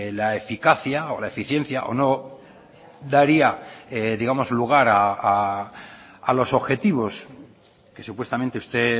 la eficacia o la eficiencia o no daría digamos lugar a los objetivos que supuestamente usted